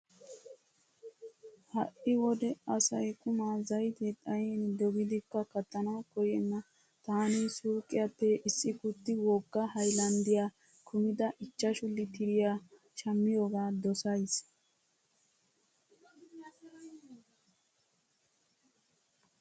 Ha"i wode asay qumaa zaytee xayin dogidikka kattanawu koyyenna. Taani suuqiyappe issi kutti wogga haylanddiya kumida ichchashu litiriya shammiyooga dosays.